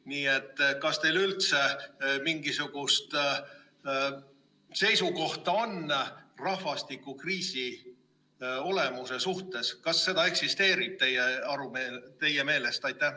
Nii et kas teil üldse mingisugust seisukohta on rahvastikukriisi olemuse suhtes, kas seda eksisteerib teie meelest?